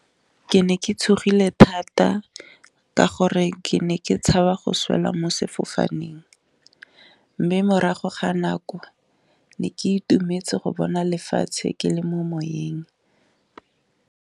Ke ne ke tshogile thata ka gore ke ne ke tshaba go swela mo sefofaneng, mme morago ga nako ne ke itumetse go bona lefatshe ke le mo moyeng.